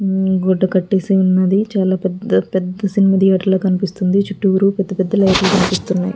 గుడ్డ కట్టేసి ఉన్నది చాల పెద్ద పెద్ద సినిమా థియేటర్ లా కనిపిస్తుంది చుట్టూరు పెద్ద పెద్ద లైట్ లు కనిపిస్తున్నాయి.